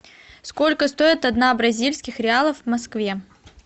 сколько стоит одна бразильских реалов в москве